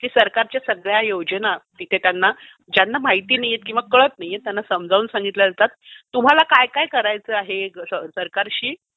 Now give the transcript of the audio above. की सरकारच्या सगळ्या योजना ज्यांना माहीत नाहीयेत किंवा ज्यांना कळत नाहीयेत त्यांना समजावून सांगितल्या जातात, तुम्हाला काय काय करायचं आहे, सरकारशी